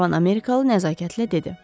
Cavan Amerikalı nəzakətlə dedi.